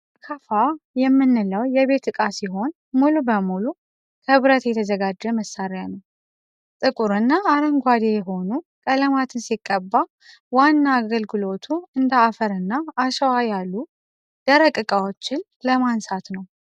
አካፋ የምንለው የቤት እቃ ሲህን ሙሉ በሙሉ ክብረት የተዘጋጀ መሳሪያ ነው ። ጥቁር እና አረንጓዴ የሆኑ ቀለማትን ሲቀባ ዋና አገልግሎቱ እንደ አፈር እና አሸዋ ያሉ ደረቅ እቃዎችን ለማንሳት ነው ።